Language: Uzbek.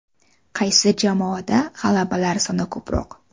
Qaysi jamoada g‘alabalar soni ko‘proq?